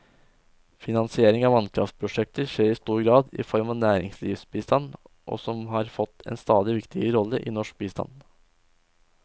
Finansiering av vannkraftprosjekter skjer i stor grad i form av næringslivsbistand, som har fått en stadig viktigere rolle i norsk bistand.